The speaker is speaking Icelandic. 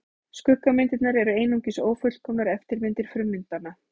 Skuggamyndirnar eru einungis ófullkomnar eftirmyndir frummyndanna.